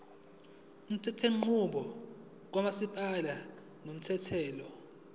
umthethonqubo kamasipala unomthelela